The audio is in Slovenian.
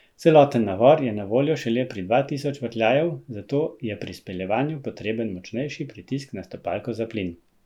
Celoten navor je na voljo šele od dva tisoč vrtljajev, zato je pri speljevanju potreben močnejši pritisk na stopalko za plin.